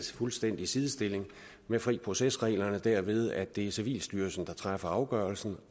fuldstændig sidestilling med fri proces reglerne derved at det er civilstyrelsen der træffer afgørelsen